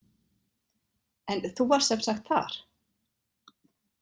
En þú varst sem sagt þar?